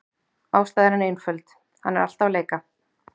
Ástæðan er einföld: Hann er alltaf að leika.